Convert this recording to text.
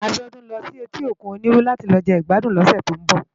Abiodun n lò si èti ókún Oniru làti lò jegbàdún lòsè tó n bò